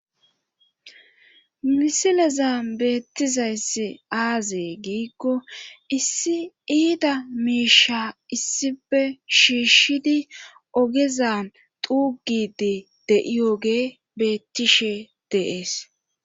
Misileza beettizayssi aazee giikko issi iida miishsha issife shiishshidi ogeza tuugidi de'iyoge beettishshe de'ees